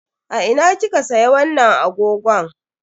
A ina kika siya wannan agogon?